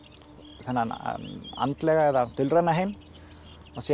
þennan andlega eða dulræna heim síðan